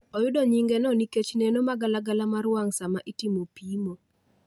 Oyudo nyinge no nikech neno magalagala mar wang' sama itimo pimo